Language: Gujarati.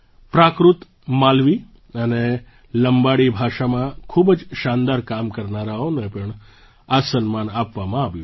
પ્રાકૃત માલવી અને લમ્બાડી ભાષામાં ખૂબ જ શાનદાર કામ કરનારાઓને પણ આ સન્માન આપવામાં આવ્યું છે